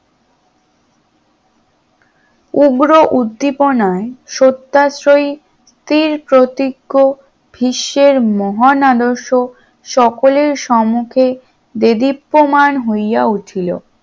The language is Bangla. উগ্র উদ্দীপনায়ত্তা সত্যাশ্রয়ী তীর প্রতিজ্ঞ ভীষ্মর মহান আদর্শ সকলের সম্মুখে দেবী প্রমাণ হইয়া উঠিল